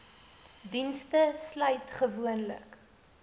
dienste sluit gewoonlik